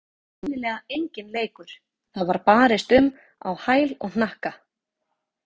Þetta var greinilega enginn leikur, það var barist um á hæl og hnakka.